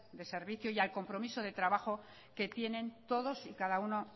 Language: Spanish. de servicio y al compromiso de trabajo que tienen todos y cada uno